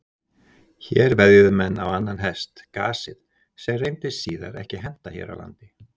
Hér veðjuðu menn á annan hest, gasið, sem reyndist síðar ekki henta hér á landi.